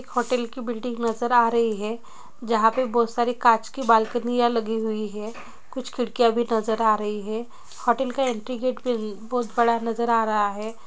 एक होटल की बिल्डिंग नजर आ रही है जहाँ पे बहुत सारे काँच की बालकोनी लगी हुई है कुछ खिड़कियां भी नजर आ रही है होटल की एंट्री गेट उं भी बहुत बड़ा नजर आ रहा है।